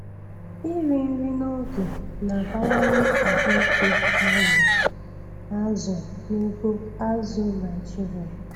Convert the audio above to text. Iri nri n'oge na-abawanye ahụike azụ azụ n'ugbo azụ̀ Naịjiria.